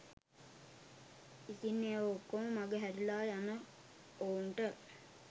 ඉතින් ඒ ඔක්කොම මඟ හැරලා යන ඔවුන්ට